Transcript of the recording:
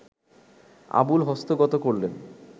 আবুল হস্তগত করলেন